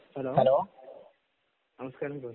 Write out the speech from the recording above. hello നമസ്കാരം sir